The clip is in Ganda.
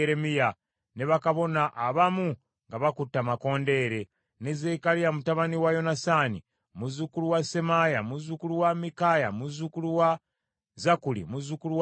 ne bakabona abamu nga bakutte amakondeere, ne Zekkaliya mutabani wa Yonasaani, muzzukulu wa Semaaya, muzzukulu wa Mikaaya, muzzukulu wa Zakkuli, muzzukulu wa Asafu;